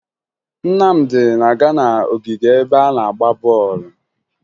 Nnamdị na-aga n'ogige ebe a na-agba bọọlụ